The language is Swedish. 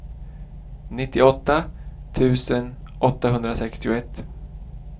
nittioåtta tusen åttahundrasextioett